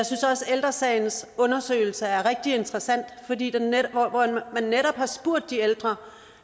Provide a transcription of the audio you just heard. ældre sagens undersøgelse er rigtig interessant fordi man netop har spurgt de ældre